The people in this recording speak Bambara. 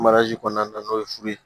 kɔnɔna na n'o ye furu ye